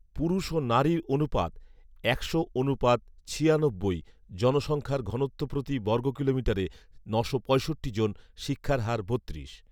পুরষ ও নারীর অনুপাত একশো অনুপাত ছিয়ানব্বই, জনসংখ্যার ঘনত্ব প্রতি বর্গ কিলোমিটারে নশো পঁয়ষট্টি জন, শিক্ষার হার বত্রিশ